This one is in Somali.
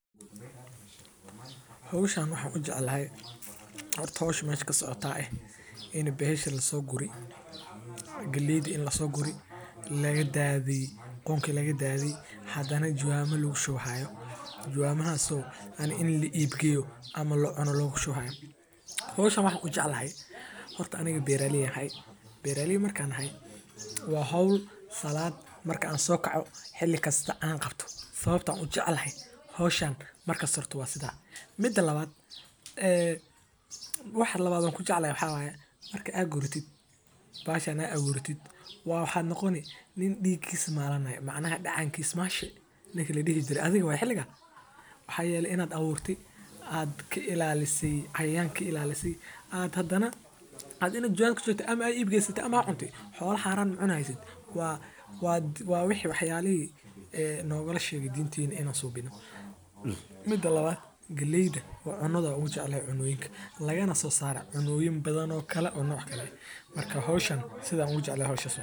Howshan waxaan ujeclahay sababto ah waa howl muhiim ah in la isticmaalo wuxuu hagajiya dismahayciida wuxuuna siinaya adeegsadaha amni iyo xasilooni ayado laga taxadaayo waxaa nasuura oo laga yaaba inaay tahay meel badiyaha ayuu kabaxaaa waa geed qalalan ama ulaha geedaha oo laga helo wax kuool ah.